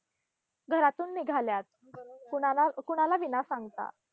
घरातून निघाल्या, कुणाला कुणाला विना सांगता